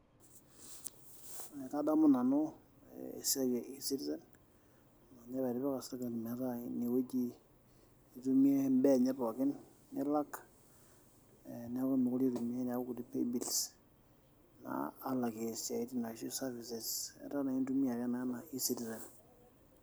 Ee kadamu esiai e e citizen aa ninye apa etipika sirkali metaa ine wueji itumie imbaa enye pookin nilak neeku miikure itumiay neeku naa kulie paybills alakie isiaitin ashu services etaa naa intumia ake ena e citizen.